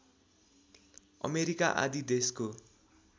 America आदि देशको